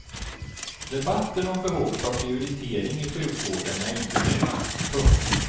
Debatten om behovet av prioritering i sjukvården är inte ny. punkt